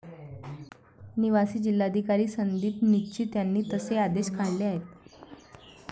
निवासी जिल्हाधिकारी संदीप निचित यांनी तसे आदेश काढले आहेत.